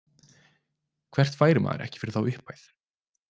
Hvert færi maður ekki fyrir þá upphæð.